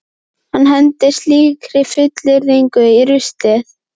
Hann hendir slíkri fullyrðingu í ruslið.